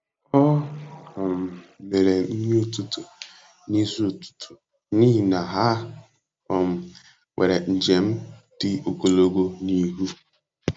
O um mere nri ụtụtụ n'isi ụtụtụ n'ihi na ha um nwere njem dị ogologo n'ihu.